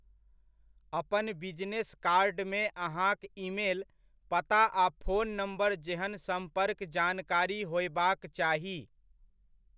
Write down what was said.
अपन बिजनेस कार्डमे अहाँक ईमेल, पता आ फोन नम्बर जेहन सम्पर्क जानकारी होयबाक चाही।